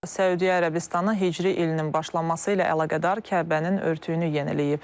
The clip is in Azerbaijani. Səudiyyə Ərəbistanı Hicri ilinin başlaması ilə əlaqədar Kəbənin örtüyünü yeniləyib.